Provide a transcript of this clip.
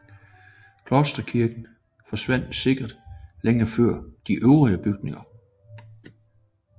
Klosterkirken forsvandt sikkert længe før de øvrige bygninger